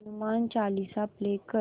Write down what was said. Hanuman Chalisa play कर